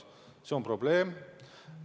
See on probleem.